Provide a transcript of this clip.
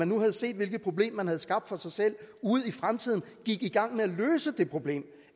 nu havde set hvilket problem de havde skabt for sig selv ud i fremtiden gik i gang med at løse det problem